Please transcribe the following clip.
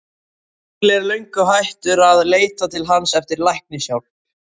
Skúli er löngu hættur að leita til hans eftir læknishjálp.